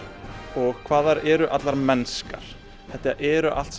og hvað þær eru allar mennskar þetta eru allt